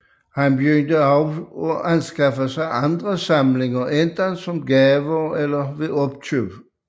Han begyndte også at anskaffe sig andre samlinger enten som gaver eller ved opkøb